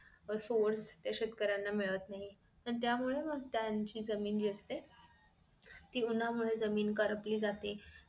source त्या शेतकऱ्यांना मिळत नाही आणि त्यामुळे त्यांची जमीन जी असते ती उन्हामुळे जमीन करपली जाते